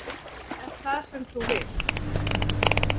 Er það sem þú vilt?